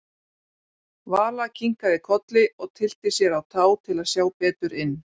Vala kinkaði kolli og tyllti sér á tá til að sjá betur inn.